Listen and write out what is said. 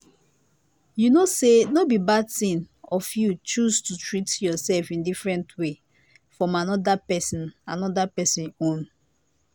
you know say no bi bad thing of you choose to treat yourself in a different way from another person another person own